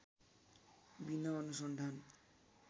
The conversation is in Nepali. बिना अनुसन्धान